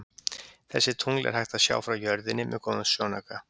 Þessi tungl er hægt að sjá frá jörðinni með góðum sjónauka.